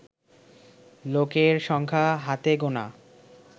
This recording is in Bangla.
লোকের সংখ্যা হাতে গোনা